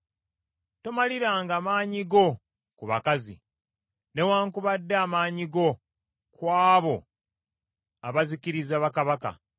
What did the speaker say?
Tomaliranga maanyi go ku bakazi, newaakubadde amaanyi go ku abo abazikiriza bakabaka.